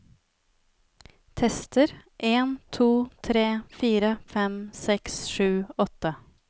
Tester en to tre fire fem seks sju åtte